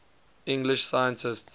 english scientists